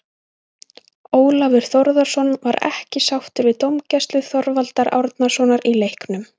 Ólafur Þórðarson var ekki sáttur við dómgæslu Þorvaldar Árnasonar í leiknum.